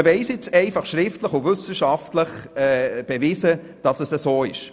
Man hat es nun einfach schriftlich und kann wissenschaftlich beweisen, dass es so ist.